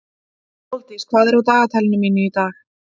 Sóldís, hvað er á dagatalinu mínu í dag?